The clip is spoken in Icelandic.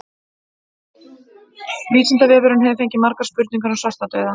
Vísindavefurinn hefur fengið margar spurningar um svartadauða.